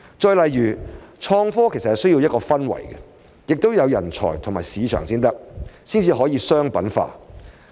再例如，創科需要一個氛圍，也要有人才和市場，才能商品化。